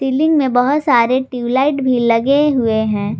Ceiling में बहुत सारे ट्यूबलाइट भी लगे हुए हैं।